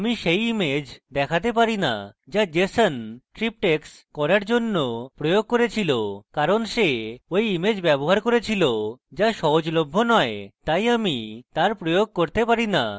আমি সেই image দেখাতে পারি না যা jeson triptychs করার জন্য প্রয়োগ করেছিল কারণ সে ঐ image ব্যবহার করেছিল যা সহজলভ্য নয় তাই আমি তার প্রয়োগ করতে পারি না